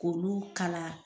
k'olu kala.